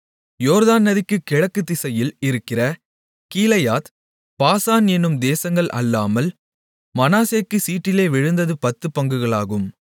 யோர்தான் நதிக்கு கிழக்கு திசையில் இருக்கிற கீலேயாத் பாசான் என்னும் தேசங்கள் அல்லாமல் மனாசேக்குச் சீட்டிலே விழுந்தது பத்துப் பங்குகளாகும்